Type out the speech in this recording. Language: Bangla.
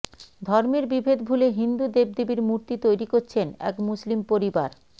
ধর্মের বিভেদ ভুলে হিন্দু দেবদেবীর মূর্তি তৈরি করছেন এক মুসলিম পরিবার